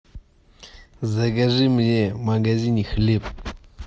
закажи мне в магазине хлеб